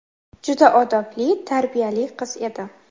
juda odobli, tarbiyali qiz edi.